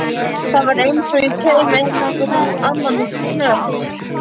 Það var einsog ég kæmi á einhvern annan hnött.